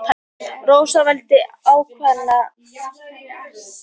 Rósa vældi lágt og aumlega.